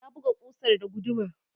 ya buga kusar da guduma